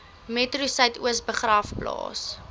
metro suidoos begraafplaas